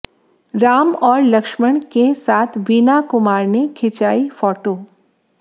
राम और लक्ष्मण केसाथ वीना कुमार ने खिंचवाी फोटो